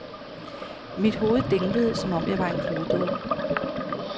Mit hoved dinglede, som om jeg var en kludedukke.